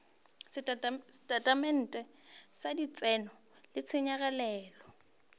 setatamente sa letseno le ditshenyegelo